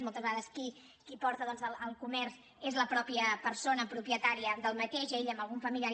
moltes vegades qui porta doncs el comerç és la mateixa persona propietària d’aquest ell amb algun familiar